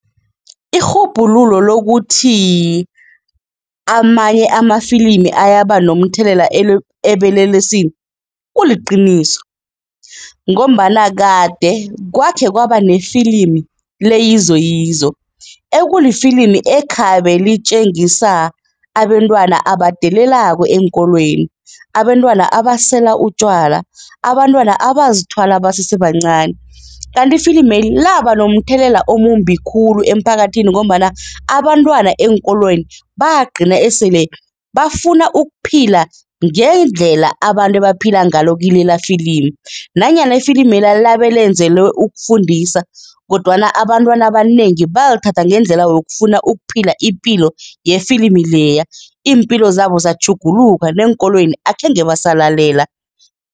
Irhubhululo lokuthi amanye amafilimi ayaba nomthelela ebelelesini kuliqiniso ngombana kade kwakhe kwaba nefilimi leYizoyizo ekulifilimi ekhabe litjengisa abentwana abadelelako eenkolweni, abentwana abasela utjwala, abantwana abazithwala basese bancani. Kanti ifilimeli laba nomthelela omumbi khulu emphakathini ngombana abantwana eenkolweni bagcina esele bafuna ukuphila ngendlela abantu ebaphila ngalo kilelafilimi nanyana ifilimela labe lenzelwe ukufundisa kodwana abantwana abanengi balithatha ngendlela yokufuna ukuphila ipilo yefilimi leya. Iimpilo zabo zatjhuguluka neenkolweni akhenge basalalela.